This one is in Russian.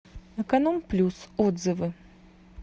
эконом плюс отзывы